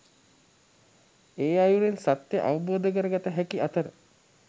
ඒ අයුරෙන් සත්‍යය අවබෝධ කර ගත හැකි අතර